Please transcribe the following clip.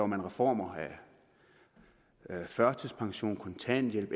man reformer på førtidspensions kontanthjælps